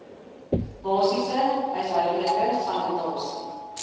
basiese huishoudelike sanitasie